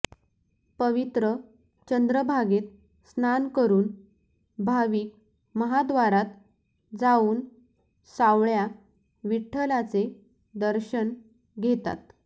पवित्र चंद्रभागेत स्नान करून भाविक महाद्वारात जाऊन सावळ्या विठ्ठलाचे दर्शन घेतात